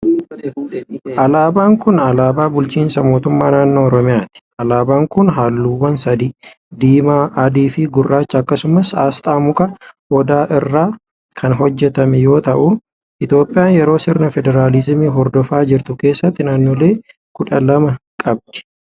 Alaabaan kun ,alaabaa bulchiinsa mootummaa naannoo Oromiyaati. Alaabaan kun haalluuwwan sadi:diimaa, adii fi gurraacha akkasumas asxaa muka odaa irraa kan hojjatame yoo ta'u, Itoophiyaan yeroo sirna federaalizimii hordofaa jirtu keessatti naannolee kudha lama qabdi.